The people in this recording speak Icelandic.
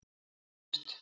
Heiðbjört